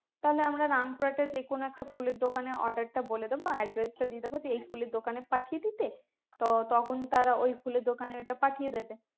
তাহলে আমরা রামপুরহাটে যে কোনো একটা ফুলের দোকানে order টা বলে দেবো address টা দিয়ে দেবো যে এই ফুলের দোকানে পাঠিয়ে দিতে তো তখন তারা ওই ফুলের দোকানে ওইটা পাঠিয়ে দেবে